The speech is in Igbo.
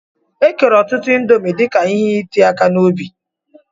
E kere ọtụtụ índomi dika ihe iti aka n'obi.